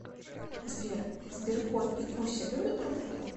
сбер сберкот и куся любят друг друга